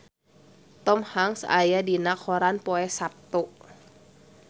Tom Hanks aya dina koran poe Saptu